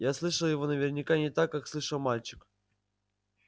я слышал его наверняка не так как слышал мальчик